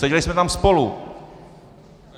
Seděli jsme tam spolu!